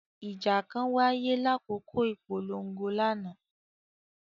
Ija kan waye lakoko ipolongo lana.